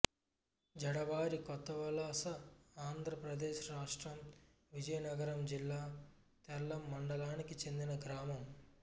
జడవారి కొత్తవలసఆంధ్ర ప్రదేశ్ రాష్ట్రం విజయనగరం జిల్లా తెర్లాం మండలానికి చెందిన గ్రామం